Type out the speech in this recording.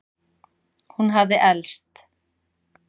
Hún hafði elst.